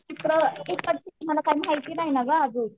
मला काही माहितीय नाही ना गं अजून